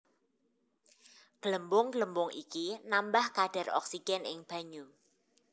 Glembung glembung iki nambah kadhar oksigen ing banyu